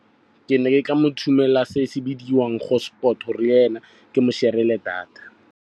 Ke ne ke mo tshumela se se bidiwang hosport gore le ena ke mo share-ela data.